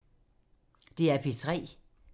DR P3